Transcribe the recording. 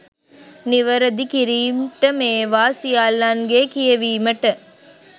නිවරදි කිරීම්ට මේවා සියල්ලන්ගේ කියවීමට